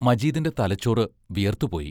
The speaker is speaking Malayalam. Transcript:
മജീദിന്റെ തലച്ചോറ് വിയർത്തു പോയി.